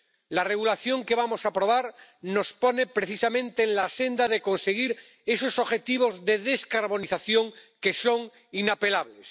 El Reglamento que vamos a aprobar nos pone, precisamente, en la senda de conseguir esos objetivos de descarbonización, que son inapelables.